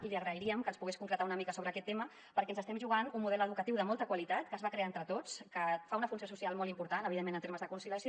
i li agrairíem que ens pogués concretar una mica aquest tema perquè ens estem jugant un model educatiu de molta qualitat que es va crear entre tots que fa una funció social molt important evidentment en termes de conciliació